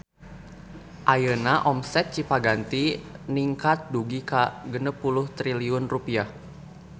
Ayeuna omset Cipaganti ningkat dugi ka 60 triliun rupiah